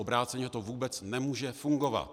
Obráceně to vůbec nemůže fungovat.